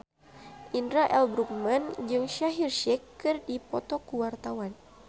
Indra L. Bruggman jeung Shaheer Sheikh keur dipoto ku wartawan